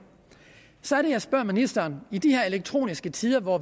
så er det jeg spørger ministeren i de her elektroniske tider hvor